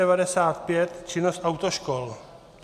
N695 - činnost autoškol.